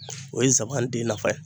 O ye zaban den nafa ye.